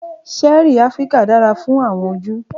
ṣẹẹri Afirika dara fun awọn oju.